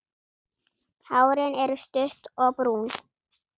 Hárin er stutt og brún.